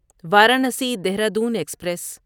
Varanasi Dehradun express